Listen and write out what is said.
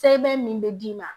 Sɛbɛn min bɛ d'i ma